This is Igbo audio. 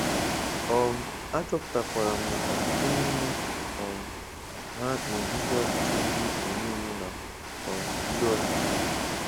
um achọpụtakwara m na ọtụtụ n'ime um ha na-eduzi ọchịchị ndị omeiwu na um ndị ọchịchị.